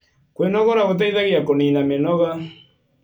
Kwĩnogora gũteĩthagĩa kũnĩna mĩnoga